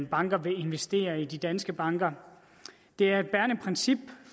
banker vil investere i de danske banker det er et bærende princip